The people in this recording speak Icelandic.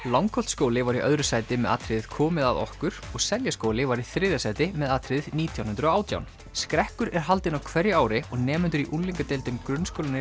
Langholtsskóli var í öðru sæti með atriðið komið að okkur og Seljaskóli var í þriðja sæti með atriðið nítján hundruð og átján skrekkur er haldinn á hverju ári og nemendur í unglingadeildum grunnskólanna